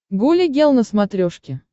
гуля гел на смотрешке